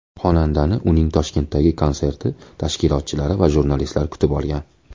Xonandani uning Toshkentdagi konserti tashkilotchilari va jurnalistlar kutib olgan.